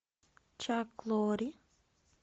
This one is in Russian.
чак лорри